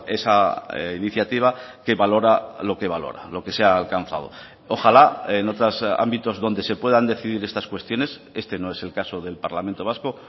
esa iniciativa que valora lo que valora lo que se ha alcanzado ojalá en otros ámbitos donde se puedan decidir estas cuestiones este no es el caso del parlamento vasco